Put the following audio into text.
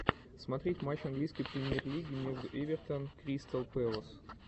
смотреть матч английской премьер лиги между эвертон кристал пэлас